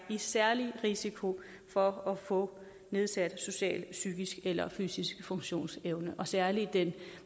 særlig risiko for at få nedsatte sociale psykiske eller fysiske funktionsevner og særlig den